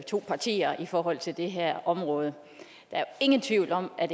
to partier i forhold til det her område der er ingen tvivl om at